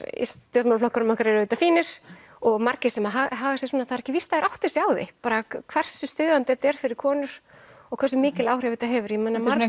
í stjórnmálaflokkunum okkar eru auðvitað fínir og margir sem að haga sér svona það er ekki víst að þeir átti sig á því bara hversu stuðandi þetta er fyrir konur og hversu mikil áhrif þetta hefur ég meina margar